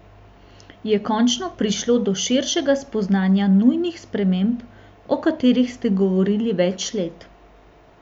Je končno prišlo do širšega spoznanja nujnih sprememb, o katerih ste govorili več let?